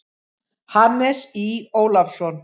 Hannes Í. Ólafsson.